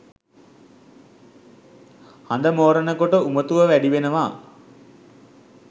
හඳ මෝරන කොට උමතුව වැඩිවෙනවා